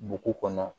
Bugu kɔnɔ